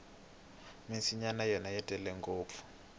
minsinya yona yi tele ngopfu